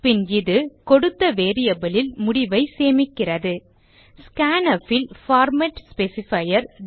பின் இது கொடுத்த variableலில் முடிவை சேமிக்கிறது scanf ல் பார்மேட் ஸ்பெசிஃபையர்